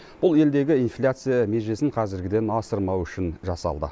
бұл елдегі инфляция межесін қазіргіден асырмау үшін жасалды